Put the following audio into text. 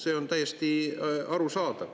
See on täiesti arusaadav.